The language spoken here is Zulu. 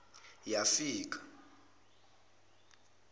yafika